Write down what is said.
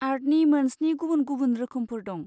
आर्टनि मोन स्नि गुबुन गुबुन रोखोमफोर दं।